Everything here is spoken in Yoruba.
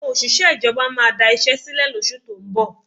Àwọn òṣìṣẹ́ ìjọba máa da iṣẹ́ sílẹ̀ lóṣù tó ń bọ̀